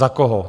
Za koho?